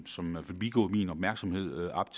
som er forbigået min opmærksomhed op